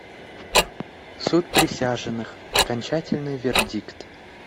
суд присяжных окончательный вердикт